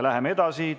Läheme edasi.